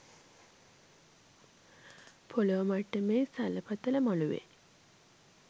පොළොව මට්ටමේ සලපතල මළුවේ